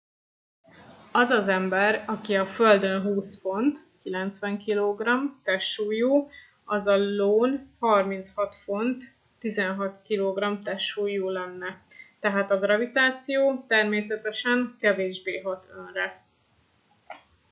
az az ember aki a földön 200 font 90 kg testsúlyú az az ión 36 font 16 kg testsúlyú lenne. tehát a gravitáció természetesen kevésbé hat önre